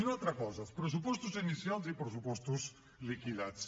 una altra cosa els pressupostos inicials i els pressupostos liquidats